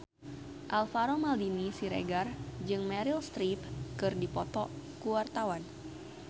Alvaro Maldini Siregar jeung Meryl Streep keur dipoto ku wartawan